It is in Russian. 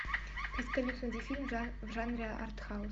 поисковик найди фильм в жанре артхаус